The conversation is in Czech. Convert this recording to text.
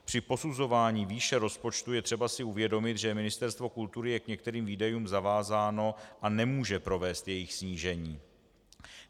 Při posuzování výše rozpočtu je třeba si uvědomit, že Ministerstvo kultury je k některým výdajům zavázáno a nemůže provést jejich snížení.